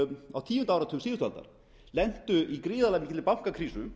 á tíunda áratug síðustu aldar lentu í gríðarlega mikilli bankakrísu